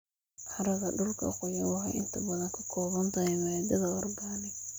Carrada dhulka qoyan waxay inta badan ka kooban tahay maadada organic.